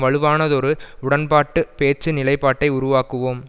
வலுவானதொரு உடன்பாட்டு பேச்சு நிலைபாட்டை உருவாக்குவோம்